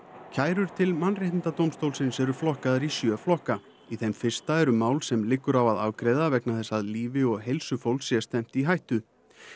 kærur til Mannréttindadómstólsins eru flokkaðar í sjö flokka í þeim fyrsta eru mál sem liggur á að að afgreiða vegna þess að lífi og heilsu fólks sé stefnt í hættu